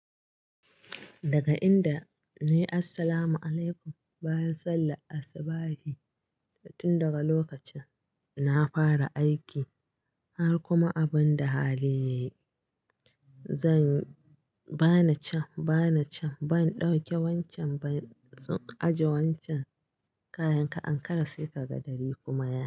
Daga inda, nayi assalamu alaikum bayan sallar Asibahi tun daga lokacin na fara aiki har kuma abin da hali yayi. Zan bani can bani can ban dauke wancan ba. Zan ajiye wancan kahin ka ankara sai ka ga dare kuma yayi.